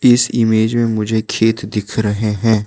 इस इमेज मे मुझे खेत दिख रहे हैं।